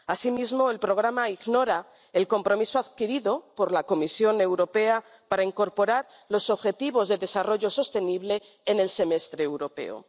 Asimismo, el programa ignora el compromiso adquirido por la Comisión Europea para incluir los objetivos de desarrollo sostenible en el Semestre Europeo.